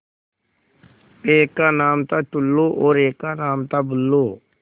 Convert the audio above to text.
एक का नाम था टुल्लु और एक का नाम था बुल्लु